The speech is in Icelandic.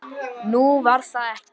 Nú, var það ekki?